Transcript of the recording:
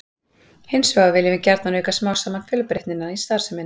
Hins vegar viljum við gjarnan auka smám saman fjölbreytnina í starfseminni.